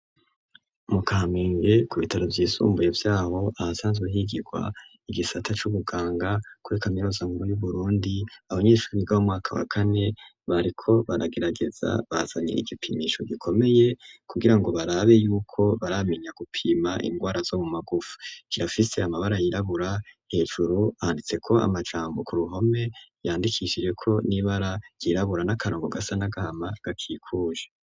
Mukahamenge ku bitaro vyisumbuye vyabo ahasanzwe higirwa igisata c'ubuganga kwekamerozankbuy' uburundi abanyeshuri ibigabamwaka wakane bariko baragerageza basanye igipimisho gikomeye kugira ngo barabe yuko baramenya gupima ingwara zo mu magufu kirafise amabara yirabura hejuru handitse ko amajambo ku ruhome yandikishije ko n'ibara ryirabura n'akarongo gasa n'agahama gakikuje.